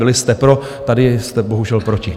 Byli jste pro, tady jste bohužel proti.